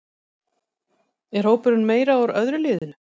Er hópurinn meira úr öðru liðinu?